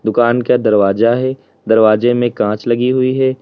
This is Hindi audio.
दुकान के दरवाजा है दरवाजे में कांच लगी हुई है।